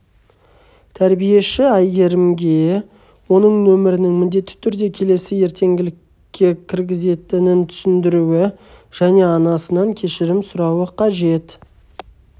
тәрбиеші айгерімге оның нөмірінің міндетті түрде келесі ертеңгілікке кіргізетінін түсіндіруі және анасынан кешірім сұрауы қажет